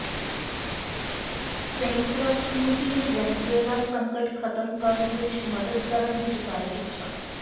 ਸੰਯੁਕਤ ਰਾਸ਼ਟਰ ਮੁਖੀ ਨੇ ਵੈਨੇਜ਼ੁਏਲਾ ਸੰਕਟ ਖਤਮ ਕਰਨ ਵਿਚ ਮਦਦ ਕਰਨ ਦੀ ਜਤਾਈ ਇੱਛਾ